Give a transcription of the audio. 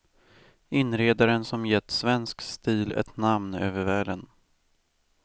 Inredaren som gett svensk stil ett namn över världen.